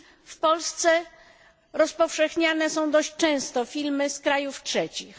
W Polsce rozpowszechniane są dość często filmy z krajów trzecich.